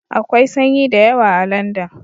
Akwai sanyi da yawa a Landan